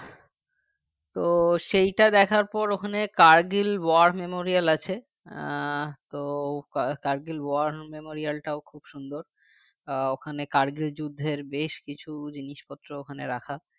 তো সেইটা দেখার পর ওখানে kargil war memorial আছে আহ তো kargil war memorial টাও খুব সুন্দর আহ ওখানে kargil বেশ কিছু জিনিসপত্র ওখানে রাখা